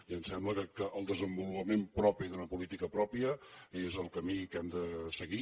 i em sembla que el desenvolupament propi d’una política pròpia és el camí que hem de seguir